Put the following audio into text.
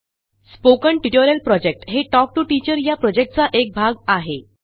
spoken tutorial project हे talk to teacher या प्रॉजेक्टचा एक भाग आहे